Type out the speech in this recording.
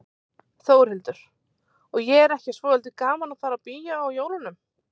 Þórhildur: Og er ekki svolítið gaman að fara í bíó á jólunum?